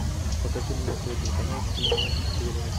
покажи мне на тв телеканал киносерия